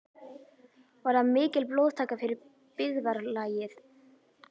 Var það mikil blóðtaka fyrir byggðarlagið.